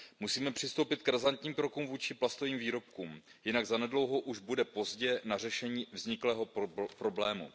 Musíme přistoupit k razantním krokům vůči plastovým výrobkům, jinak zanedlouho už bude pozdě na řešení vzniklého problému.